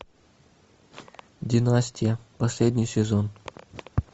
династия последний сезон